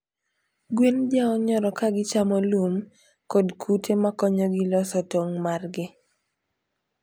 gwen jaonyoro kagichamo lum kod kute makonyogi loso tong margi